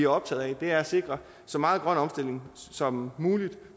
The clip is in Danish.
optagede af er at sikre så meget grøn omstilling som muligt